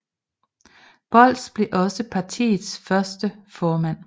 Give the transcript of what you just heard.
Bolz blev også partiets første formand